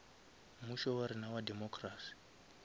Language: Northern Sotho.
mmušo wa rena wa democracy